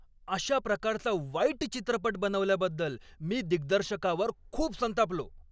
अशा प्रकारचा वाईट चित्रपट बनवल्याबद्दल मी दिग्दर्शकावर खूप संतापलो.